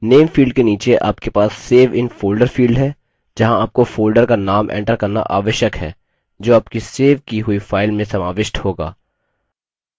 name field के नीचे आपके पास save in folder field है जहाँ आपको folder का name enter करना आवश्यक है जो आपकी सेव की हुई फाइल में समाविष्ट होगा